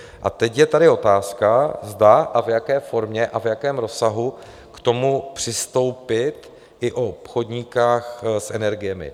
A teď je tady otázka, zda a v jaké formě a v jakém rozsahu k tomu přistoupit i u obchodníků s energiemi.